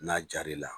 N'a jar'i la